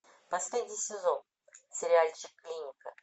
последний сезон сериальчик клиника